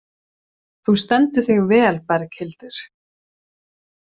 Þú stendur þig vel, Berghildur!